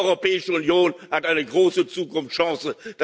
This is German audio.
Diese Europäische Union hat eine große Zukunftschance